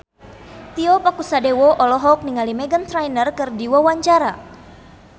Tio Pakusadewo olohok ningali Meghan Trainor keur diwawancara